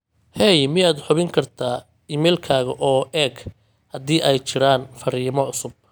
hey miyaad hubin kartaa iimaylkayga oo eeg haddii ay jiraan farriimo cusub